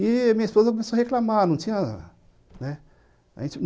E minha esposa começou a reclamar. Não tinha, né. A gente